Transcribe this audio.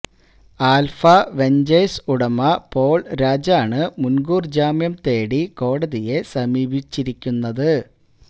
alpha ventures ഉടമ Paul രാജാണ് മുൻകൂർ ജാമ്യം തേടി കോടതിയെ സമീപിച്ചുിരിക്കുന്നത്